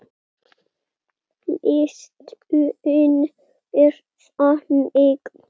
Listinn er þannig